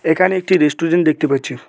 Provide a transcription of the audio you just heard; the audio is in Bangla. এখানে একটি রেস্টুরেন্ট দেখতে পাচ্ছি।